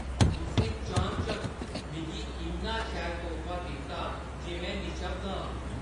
तुसें चानचक्क मिगी इन्ना शैल तोह्फा दित्ता जे में निशब्द हा।